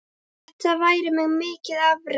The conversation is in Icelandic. Þetta væri því mikið afrek.